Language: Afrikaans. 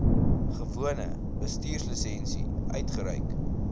gewone bestuurslisensie uitgereik